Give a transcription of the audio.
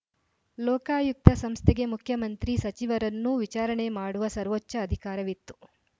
ಲೋಕಾಯುಕ್ತ ಸಂಸ್ಥೆಗೆ ಮುಖ್ಯಮಂತ್ರಿ ಸಚಿವರನ್ನೂ ವಿಚಾರಣೆ ಮಾಡುವ ಸರ್ವೋಚ್ಛ ಅಧಿಕಾರವಿತ್ತು